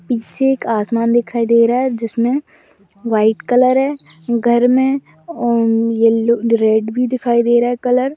पीछे एक आसमान दिखाई दे रहा है जिसमें व्हाइट कलर है घर में उम्म येलो रेड भी दिखाई दे रहा है कलर |